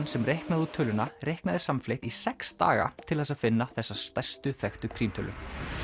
sem reiknaði út töluna reiknaði samfleytt í sex daga til að finna þessa stærstu þekktu prímtölu